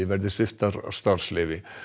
verði sviptar starfsleyfi